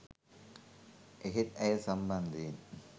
එහෙත් ඇය සම්බන්ධයෙන්